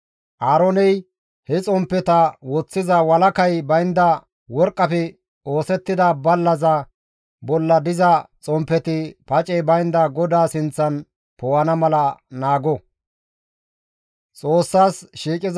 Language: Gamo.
Aarooney he xomppeta woththiza walakay baynda worqqafe oosettida ballaza bolla diza xomppeti pacey baynda GODAA sinththan poo7ana mala naago.